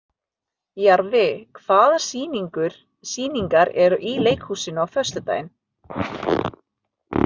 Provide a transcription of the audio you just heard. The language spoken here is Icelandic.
Jarfi, hvaða sýningar eru í leikhúsinu á föstudaginn?